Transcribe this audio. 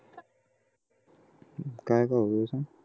काय ठाऊक आहे सांग